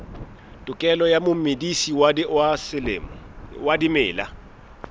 tokelo ya momedisi wa dimela